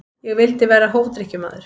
Ég vildi vera hófdrykkjumaður.